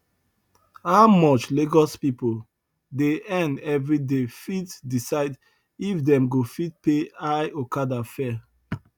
how much lagos pipo dey earn every day fit decide if dem go fit pay high okada fare